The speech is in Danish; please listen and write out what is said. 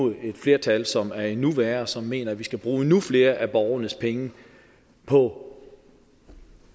flertal som er endnu værre og som mener at vi skal bruge endnu flere af borgernes penge på